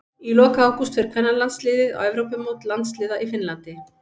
Í lok ágúst fer kvennalandsliðið á Evrópumót landsliða í Finnlandi.